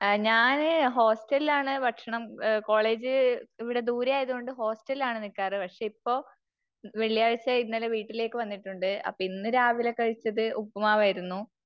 ഞാന് ഹോസ്റ്റലില് ആണ് ഭക്ഷണം. കോളേജ് ഇവിടെ ദൂരെ ആയത് കൊണ്ട് ഹോസ്റ്റലിൽ ആണ് നിക്കാറ്. പക്ഷേ ഇപ്പോ വെള്ളിയാഴ്ച ഇന്നലെ വീട്ടിലേക്ക് വന്നിട്ടുണ്ട്. അപ്പോ ഇന്നു രാവിലെ കഴിച്ചത് ഉപ്പുമാവായിരുന്നു.